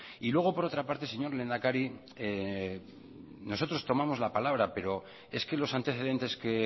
y luego por otra parte señor lehendakari nosotros tomamos la palabra pero es que los antecedentes que